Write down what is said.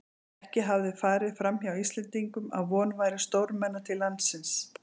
Ekki hafði farið framhjá Íslendingum, að von væri stórmenna til landsins.